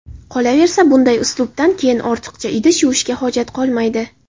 Qolaversa, bunday uslubdan keyin ortiqcha idish yuvishga hojat qolmaydi.